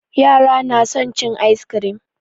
Yara su na son cin ayis kirim